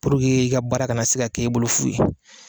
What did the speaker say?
Puruke i ka baara kana se ka k'i bolo fu ye.